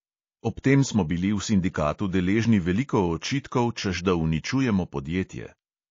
Ob tem smo bili v sindikatu deležni veliko očitkov, češ da uničujemo podjetje.